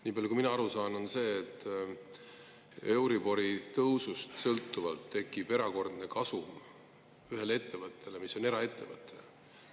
Niipalju kui mina aru saan, on, et euribori tõusust sõltuvalt tekib erakordne kasum ühel ettevõttel, mis on eraettevõte.